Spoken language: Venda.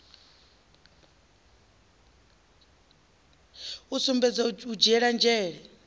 u sumbedza u dzhiela nzhele